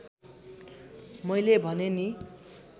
मैले भने नि